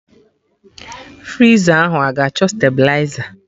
Friza ahụ a-ga achọ stabiliza?